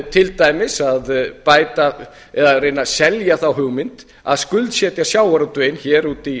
til dæmis að bæta eða reyna að selja þá hugmynd að skuldsetja sjávarútveginn út í